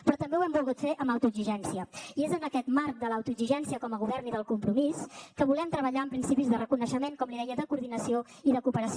però també ho hem volgut fer amb autoexigència i és en aquest marc de l’autoexigència com a govern i del compromís que volem treballar amb principis de reconeixement com li deia de coordinació i de cooperació